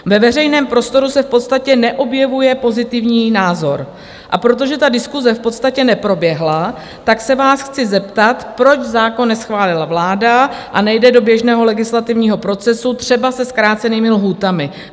Ve veřejném prostoru se v podstatě neobjevuje pozitivní názor, a protože ta diskuse v podstatě neproběhla, tak se vás chci zeptat, proč zákon neschválila vláda a nejde do běžného legislativního procesu, třeba se zkrácenými lhůtami.